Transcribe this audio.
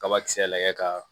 Kabakisɛ lajɛ ka